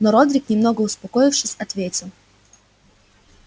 но родрик немного успокоившись ответил